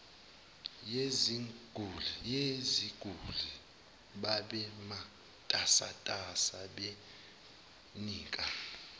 yeziguli babematasatasa benika